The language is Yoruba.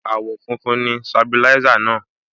Àwọ̀ funfun ni Sabilisa náà.